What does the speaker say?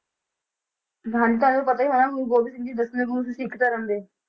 ਹਾਂਜੀ ਤੁਹਾਨੂੰ ਪਤਾ ਹੀ ਹੋਣਾ ਗੁਰੂ ਗੋਬਿੰਦ ਸਿੰਘ ਜੀ ਦਸਵੇਂ ਗੁਰੂ ਸੀ ਸਿੱਖ ਧਰਮ ਦੇ।